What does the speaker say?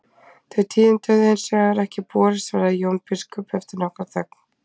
Þau tíðindi höfðu hins vegar ekki borist, svaraði Jón biskup eftir nokkra þögn.